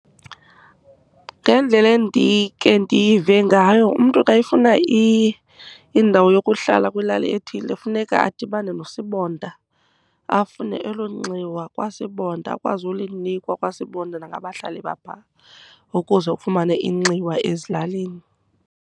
Ngendlela endike ndive ngayo, umntu xa efuna indawo yokuhlala kwilali ethile funeka adibane nosibonda, afune elo nxiwa kwasibonda. Akwazi ulinikwa kwasibonda nangabahlali bapha, ukuze ufumane inxiwa ezilalini.